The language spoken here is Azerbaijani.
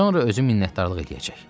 Sonra özü minnətdarlıq eləyəcək.